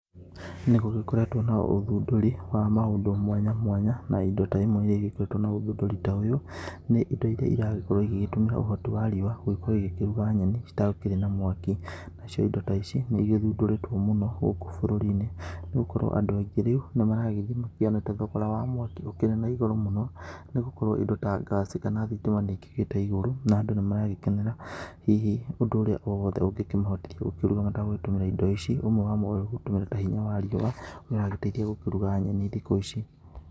Nĩ gũgĩkoretwo na ũthundũri wa maũndũ mwanya mwanya, na indo ta imwe iria igĩũkĩte na ũthundũri ta ũyũ, nĩ indo iria iragĩkorwo igĩtũmĩra ũhoti wa riũa gũkorwo igĩkĩruga nyeni citarĩ na mwaki. Nacio indo ta ici nĩ igĩthundũrĩtwo mũno gũkũ bũrũri-inĩ, nĩ gũkorwo andũ aingĩ rĩu nĩ maragĩthiĩ makĩonete thogora wa mwaki ũkĩhambĩte igũrũ mũno. Nĩ gũkorwo indo ta ngaci kana thitima nĩ ikĩgĩte igũrũ, na andũ nĩ maragĩkenera hihi ũndũ ũrĩa wothe ũngĩ mahotithia gũkĩruga matagũtũmĩra indo ici. Ũmwe wamo wĩ gũtũmira ta hinya wa riũa ũrĩa ũragĩteithia gũkĩruga nyeni thikũ ici.